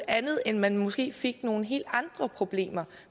andet end at man måske fik nogle helt andre problemer